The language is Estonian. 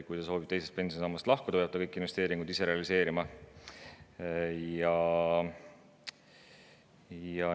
Kui ta soovib teisest pensionisambast lahkuda, peab ta kõik investeeringud ise realiseerima.